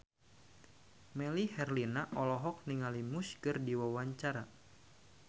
Melly Herlina olohok ningali Muse keur diwawancara